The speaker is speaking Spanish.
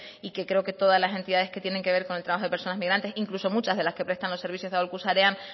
y que creo que todas las entidades que tienen que ver con el trabajo de personas migrantes incluso muchas de las que prestan aholku sarean